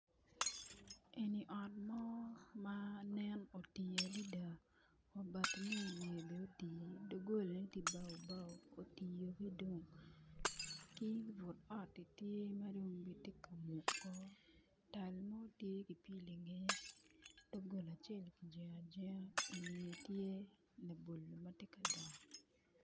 Eni ot mo ma nen oti adada wa bati mi iwiye bene otiyo doggolane tye bao bao ki but oti tye madong bene tye ka mukko tal mo tye ki pyelo i ngeye doggola acel ki jengo ajenga labolo tye ki i ngeye.